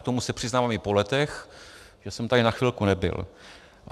K tomu se přiznávám i po letech, že jsem tady na chvilku nebyl.